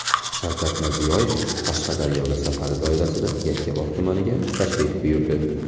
Shavkat Mirziyoyev Qashqadaryoga safari doirasida Yakkabog‘ tumaniga tashrif buyurdi.